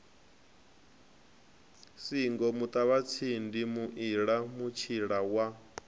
singo muṱavhatsindi muila mutshila wa